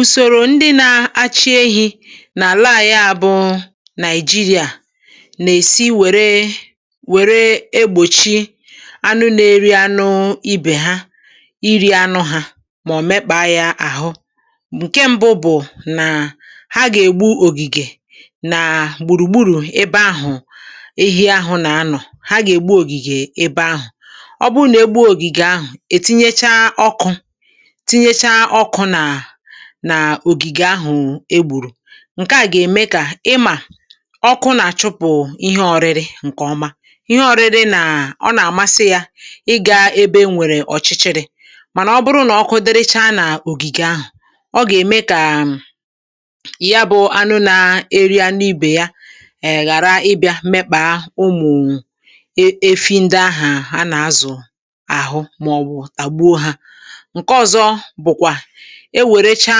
"Usoro ndị na achị ehi n'ala anyị a bụ Naịjirịa na-esi were were egbochi anụ na-eri anụ ibe ha iri anụ ha maọbụ mekpa ya ahụ, nke mbụ bụ naa ha ga -egbu ogige naa gburugburu ebe ahụ ehi ahụ na anọ, ha ga-egbu ogige ebe ahụ,Ọ bụrụ na-egbuo ogige ahụ etinyecha ọkụ, tinyecha ọkụ nana ogige ahụ egburu nke a ga eme ka, ịma ọkụ na achụpụ ihe ọrịrị nke ọma, ihe ọrịrị na ọ na amasị ya ịga ebe enwere ọchịchịrị mana ọ bụrụ na ọkụ dịrịcha na ogige ahụ,ọ ga eme ka yabụ anụ na-eri anụ ibe ya ee ghara ịbịa mekpa ụmụ efi efi ndịa ahụ ana azụ ahụ maọbu tagbuo ha. Nke ọzọ bụkwa, ewerecha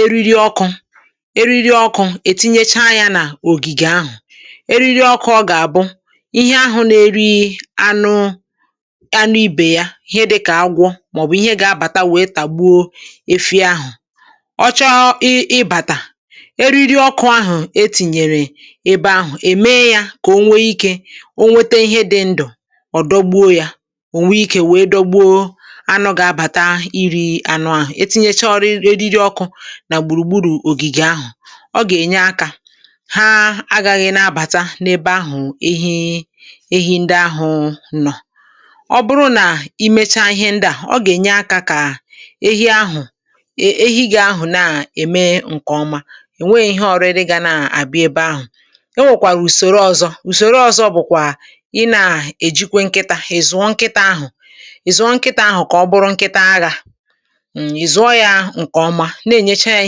eriri oku ,eriri oku etinyecha ya na ogige ahụ, eriri oku ọ ga abụ ihe anụ na-eri anụ anụ ibe ya ihe dịka, agwọ maọbu ihe ga abata tagbuo efi ahụ achọ ịị ịbata, eriri ọkụ ahụ etinyere ebe ahụ eme ya ka onwe ike o nwete ihe dị ndụ ọdọgbuo ya, onweike wee dọgbuo anụ ga-abata iri anụ ahụ, etinyecha eriri ọkụ na gburugburu ogige ahụ, ọ ga enyeaka ha agaghị na abata na ebe ahụ ehi ehi ndị ahụ nọọ, Ọ bụrụ na imecha ihe ndịa,ọ ga enyeaka ka ehi ahụ ehi gị ahụ na-eme nke ọma enweghị ihe ọrịrị gana abịa ebe ahụ. Enwekwara usoro ọzọ, usoro ọzọ bụkwa ịnaa ejikwa nkịta ,ị zụọ nkịta ahụ ị zụọ nkịta ahụ ka ọ bụrụ nkịta agha,ị zụọ ya nke ọma na-eche ya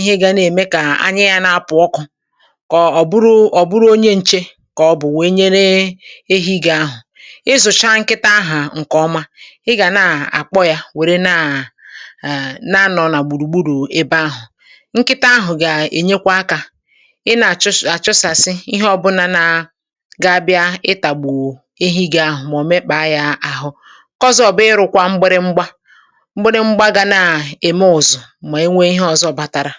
ihe ga eme ka anya ya na-apụ ọkụ ka ọ bụrụ bụrụ onye nche ka ọ bụ wee nyere ehi gị ahụ ,ị zụchaa nkịta gị ahụ nke ọma ị gana akpọ ya were na na- anọ [arh] na anọ na gburugburu ebe ahụ, nkịta ahụ ga enyerekwaaka ịna achụsasị ihe ọbụla naa ga-abịa ịtagbu ehi gị ahụ mọọ mekpa ya ahụ. Nke ọzọ bụ ịrụkwa mgbịrịmgba, mgbịrịmgba ga naa eme ụzụ ma enwe ihe ọzọ batara.